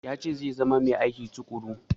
Ya ce zai zama mai aiki tuƙuru.